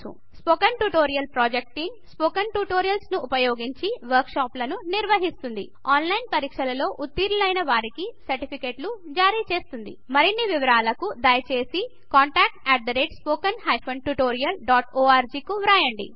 spoken tutorial project team spoken tutorials ని ఉపయోగించి వర్క్ షాప్లను నిర్వహిస్తుంది ఆన్లైన్ పరీక్షలు ఉతిర్నులైన వారికీ సర్టిఫికెట్లు జరిచేస్తుంది మరిన్ని వివరాలకు దయచేసి contactspoken tutorialorg కువ్రాయండి